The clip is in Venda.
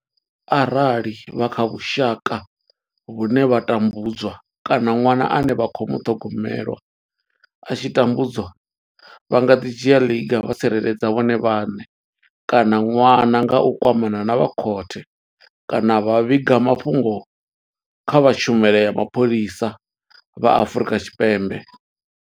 Arali vha kha vhusha ka vhune vha tambudzwa kana ṅwana ane vha khou muṱhogomela a tshi khou tambudzwa, vha nga dzhia ḽiga vha tsireledza vhone vhaṋe kana ṅwana nga u kwamana na vha khothe kana vha vhiga mafhungo kha vha tshumelo ya mapholisa vha Afrika Tshipembe.